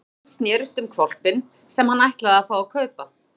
Hugsanir hans snerust um hvolpinn sem hann ætlaði að fá að kaupa.